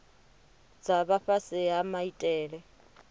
dza vha fhasi ha maitele